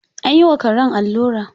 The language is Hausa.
An yi wa karen allura.